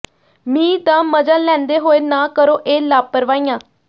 ਮੀਂਹ ਦਾ ਮਜ਼ਾ ਲੈਂਦੇ ਹੋਏ ਨਾ ਕਰੋ ਇਹ ਲਾਪਰਵਾਹੀਆਂ